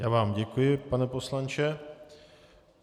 Já vám děkuji, pane poslanče.